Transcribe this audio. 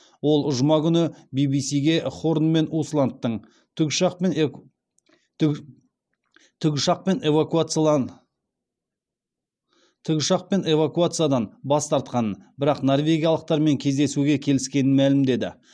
ол жұма күні би би сиге хорн мен усландтың тікұшақпен эвакуациядан бас тартқанын бірақ норвегиялықтармен кездесуге келіскенін мәлімдеді